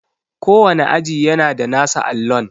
Kowane aji yana da nasa allon.